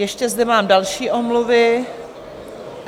Ještě zde mám další omluvu.